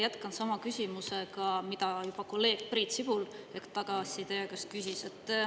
Jätkan sama küsimusega, mida juba kolleeg Priit Sibul hetk tagasi teie käest küsis.